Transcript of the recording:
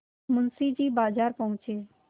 मुंशी जी बाजार पहुँचे